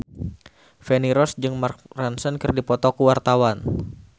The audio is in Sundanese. Feni Rose jeung Mark Ronson keur dipoto ku wartawan